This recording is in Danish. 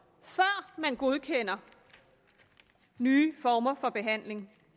før man godkender nye former for behandling